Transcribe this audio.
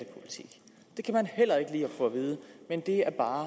få at vide men det er bare